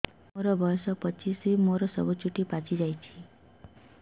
ମୋର ବୟସ ପଚିଶି ମୋର ସବୁ ଚୁଟି ପାଚି ଯାଇଛି